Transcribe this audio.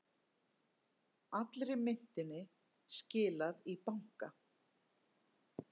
Allri myntinni skilað í banka